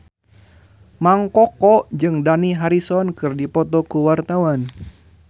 Mang Koko jeung Dani Harrison keur dipoto ku wartawan